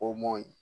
O m'o ye